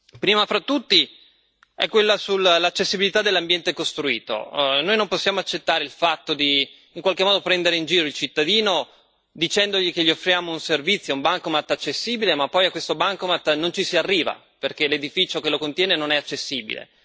Primo fra tutti, è quello sull'accessibilità dell'ambiente costruito noi non possiamo accettare il fatto, in qualche modo, di prendere in giro il cittadino, dicendogli che gli offriamo un servizio, ad esempio un bancomat accessibile, ma poi a questo bancomat non ci si arriva, perché l'edificio che lo contiene non è accessibile.